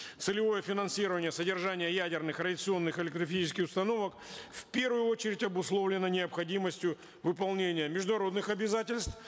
целевое финансирование содержания ядерных радиационных установок в первую очередь обусловлено необходимостью выполнения международных обязательств